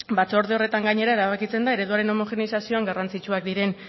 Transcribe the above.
batzorde horretan gainera erabakitzen da ereduaren homogeneizazioan garrantzitsuak diren